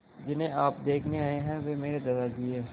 जिन्हें आप देखने आए हैं वे मेरे दादाजी हैं